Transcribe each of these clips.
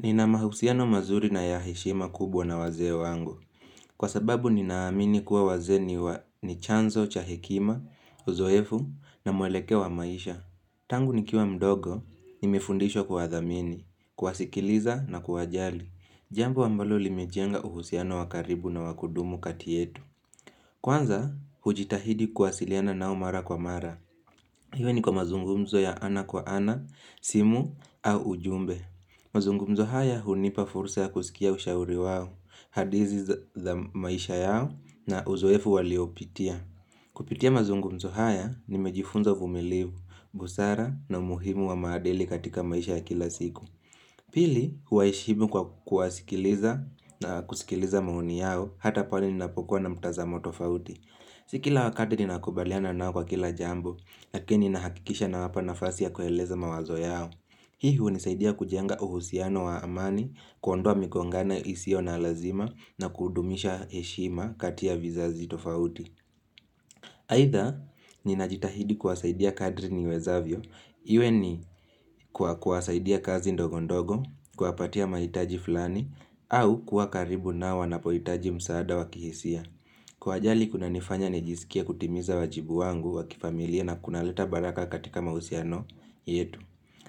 Nina mahusiano mazuri na yaheshima kubwa na wazee wangu. Kwa sababu ninaamini kuwa wazee ni wa ni chanzo cha hekima, uzoefu na muelekeo wa maisha. Tangu nikiwa mdogo, nimefundishwa kuwadhamini, kuwasikiliza na kuwajali. Jambo ambalo limejenga uhusiano wakaribu na wakudumu katietu. Kwanza, hujitahidi kuwasiliana nao mara kwa mara. Iwe ni kwa mazungumzo ya ana kwa ana, simu au ujumbe. Mazungumzo haya hunipa fursa ya kusikia ushauri wao, hadizi za maisha yao na uzoefu waliopitia. Kupitia mazungumzo haya, nimejifunza uvumiliu, busara na umuhimu wa maadili katika maisha ya kila siku. Pili, huwaeshimu kwa kuwasikiliza na kusikiliza maoni yao hata pale ninapokuwa na mtaza motofauti. Sikila wakati nina kubaliana nao kwa kila jambo, lakini nahakikisha na wapa nafasi ya kueleza mawazo yao. Hii hunisaidia kujenga uhusiano wa amani, kuondoa migongano isio na lazima, na kudumisha eshima kati ya vizazi tofauti. Aidha, ninajitahidi kuwasaidia kadri niwezavyo, iwe ni kwa kuwasaidia kazi ndogo ndogo, kuwapatia maitaji fulani, au kuakaribu nao wanapoitaji msaada wakihisia. Kwa ajali kuna nifanya nijisikie kutimiza wajibu wangu wakifamilia na kunaleta baraka katika mausiano yetu.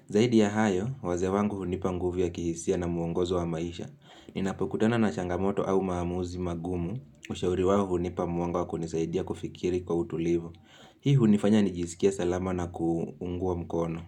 Zaidi ya hayo, waze wangu hunipa nguvu ya kihisia na muongozo wa maisha. Ninapokutana na shangamoto au maamuzi magumu ushauri wao hunipa mwanga wakunisaidia kufikiri kwa utulivu. Hii hunifanya nijisikie salama na kuungua mkono.